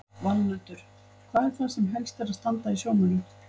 Valmundur, hvað er það sem helst er að standa í sjómönnum?